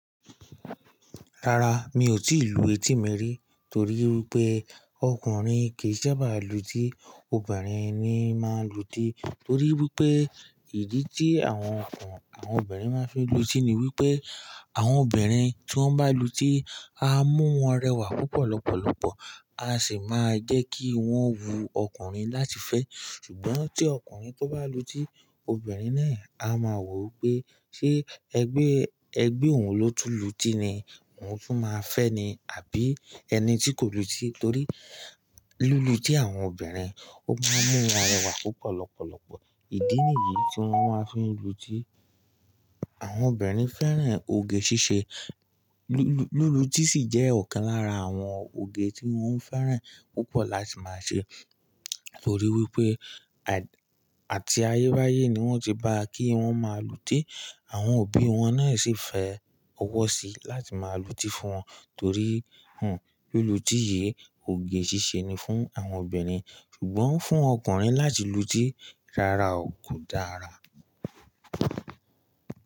Rárá, mi ò tíì lu etí mi rí torí wípé ọkùnrin kì í sábà lu tí, obìnrin ni máa ń lu tí torí wípé ìdí tí àwọn ọkùnrin, àwọn obìnrin máa ń fi lu tí ni wípé àwọn obìnrin tí wón bá lu tí á mú wọn rẹwà púpọ̀ lọ́pọ̀lọpọ̀, á sì máa jẹ́ kí wọ́n wu ọkùnrin láti fẹ́. Ṣùgbọ́n tí okunrin tó bá lu tí, obìnrin náà á máa wò ó pé ṣé ẹgbẹ́, ẹgbẹ́ òun ló tú lu tí ni òun tún máa fẹ́ ẹ ni àbí ẹni tí kò lu tí torí lulú tí àwọn obìnrin ó máa ń mú wọn rẹwà púpọ̀ lọ́pọ̀lọpọ̀. Idi ni yii ti wòn mà fi n lu ti, àwón obinrin fèran ogè sìsè, lu luti si jè okàn lara awon ogè tí wón feran la ti ma sè to ri wipè àti ayé báyé ni wọ́n ti bá kí wọ́n máa lu tí, àwọn òbí wọn náà sì fẹ́ ọwọ́ sí láti máa lu tí fún wọn torí hun lulú tí yìí òge ṣíṣe ni fún àwọn obìnrin. Ṣùgbọ́n fún ọkùnrin láti lu tí, rárá kò dára.